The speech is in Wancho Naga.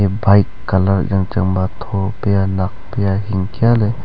bike colour yang chang ba tho pia nak kia hing kia.